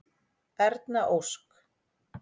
Erna Ósk.